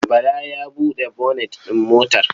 Bala ya buɗe bonet ɗin motar?